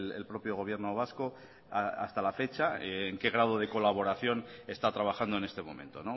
el propio gobierno vasco hasta la fecha en qué grado de colaboración está trabajando en este momento